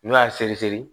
N'o y'a seri seri